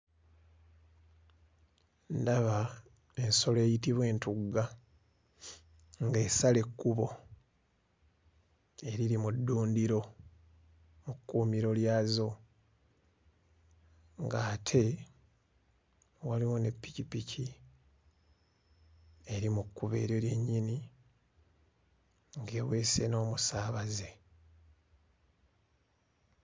Ndaba ensolo eyitibwa entugga ng'esala ekkubo eriri mu ddundiro mu kkuumiro lyazo ng'ate waliwo ne ppikipiki eri mu kkubo eryo lyennyini ng'eweese n'omusaabaze.